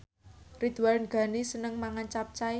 Ridwan Ghani seneng mangan capcay